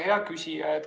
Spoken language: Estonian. Hea küsija!